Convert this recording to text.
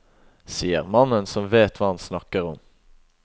Sier mannen som vet hva han snakker om.